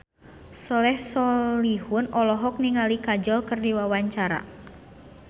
Soleh Solihun olohok ningali Kajol keur diwawancara